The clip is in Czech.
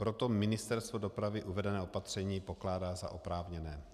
Proto Ministerstvo dopravy uvedené opatření pokládá za oprávněné.